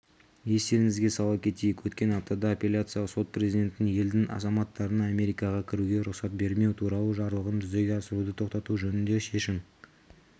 естеріңізге сала кетейік өткен аптада апелляциялық сот президенттің елдің азаматтарына америкаға кіруге рұқсат бермеу туралы жарлығын жүзеге асыруды тоқтату жөнінде шешім